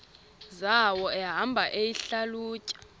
zawo ehamba eyihlalutya